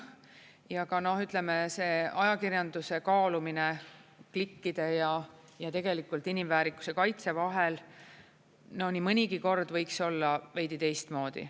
Ja ka noh, ütleme, see ajakirjanduse kaalumine klikkide ja tegelikult inimväärikuse kaitse vahel nii mõnigi kord võiks olla veidi teistmoodi.